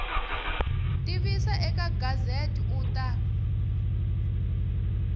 tivisa eka gazette u ta